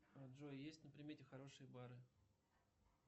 джой есть на примете хорошие бары